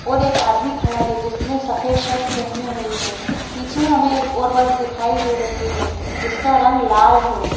और एक आदमी खड़ा है जिसने सफेद शर्ट पहनी हुई है पीछे हमें एक और बस दिखाई दे रही है जिसका रंग लाल है।